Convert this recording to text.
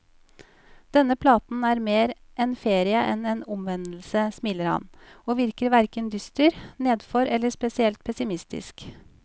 Denne platen er mer en ferie enn en omvendelse, smiler han, og virker hverken dyster, nedfor eller spesielt pessimistisk.